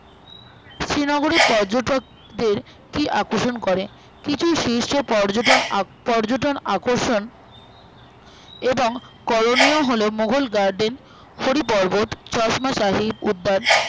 শ্রীনগরে পর্যটকদের কি আকর্ষণ করে কিছু শীর্ষে পর্যটন আহঃ পর্যটন আকর্ষণ করে এবং কোলোনিও হলো মোঘল Garden হরি পর্ব্বত চশ্মা-শাহী ও তার